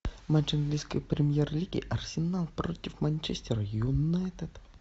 матч английской премьер лиги арсенал против манчестер юнайтед